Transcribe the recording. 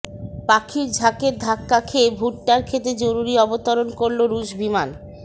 পাখির ঝাঁকের ধাক্কা খেয়ে ভুট্টার ক্ষেতে জরুরি অবতরণ করলো রুশ বিমান